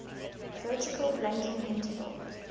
vertical blanking interval